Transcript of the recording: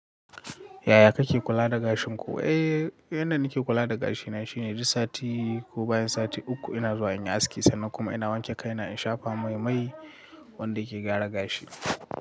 Yaya kake kula da gashin ku? Eh, yanda nake kula da gashina shine duk sati ko bayan sati uku ina zuwa in yi aski sannan kuma ina wanke kaina in shafa mai-mai wanda yake gyara gashi.